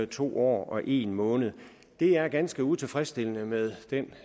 to år og en måned det er ganske utilfredsstillende med den